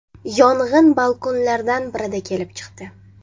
Yong‘in balkonlardan birida kelib chiqdi.